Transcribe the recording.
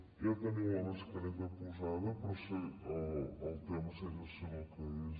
ja tenim la mascareta posada però el tema segueix sent el que és